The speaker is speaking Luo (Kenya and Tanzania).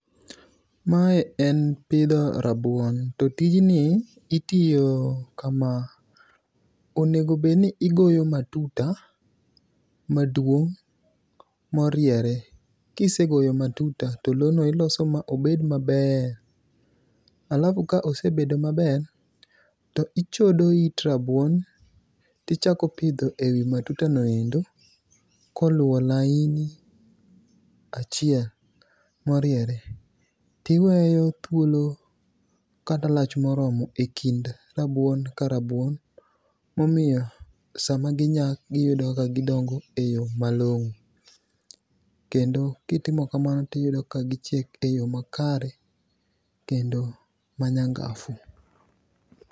Mae en pidho rabuon. To tijni, itiyo kama. Onego bed ni igoyo matuta maduong' moriere. Ka isegoyo matuta, to lowo no iloso ma obed maber. Alafu ka osebedo maber, to ichodo it rabuon, ti chako pidho e wi matuta no endo, koluwo laini achiel moriere. Tiweyo thuolo kata lach moromo e kind rabuon ka rabuon. Momiyo sama ginyak, giyudo ka gidongo e yo malongó. Kendo kitimo kamano tiyudo ka gichiek e yo makare, kendo ma nyangafu.